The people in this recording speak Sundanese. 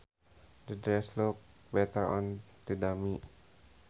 The dress looked better on the dummy